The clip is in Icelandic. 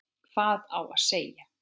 Hvað á að segja?